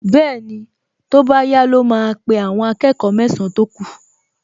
Bẹ́ẹ̀ni, tó bá yá ló máa pe àwọn akẹ́kọ̀ọ mẹ́san-án tó kù